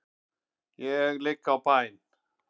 Ég ligg á bæn.